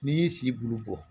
N'i y'i si bulu bɔ